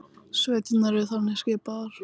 Sveitirnar eru þannig skipaðar